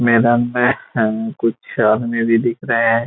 मैदान में कुछ हमें भी दिख रहे हैं ।